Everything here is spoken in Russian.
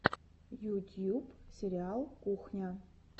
ютьюб сериал кухня